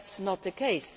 That is not the case.